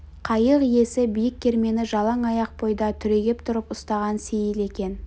қайық иесі биік кермені жалаң аяқ бойда түрегеп тұрып ұстаған сейіл екен